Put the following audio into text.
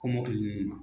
Kɔmɔkili ninnu